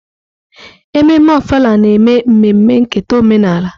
Ememme Ofala na-eme mmemme nketa omenala.